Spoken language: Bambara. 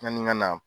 Yani n ka na